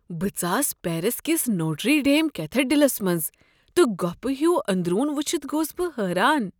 بہٕ ژاس پیرس کس نوٹری ڈیم کیتھیڈرلس منٛز، تہٕ گۄپِھہ ہِیو اندرون ؤچھتھ گوس بہٕ حیران ۔